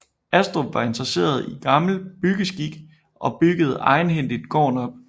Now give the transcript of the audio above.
Astrup var interesseret i gammel byggeskik og byggede egenhændigt gården op